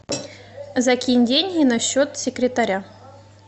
закинь деньги на счет секретаря